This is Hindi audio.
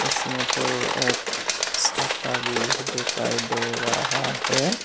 इसमें तो एक छाता भी दिखाई दे रहा है।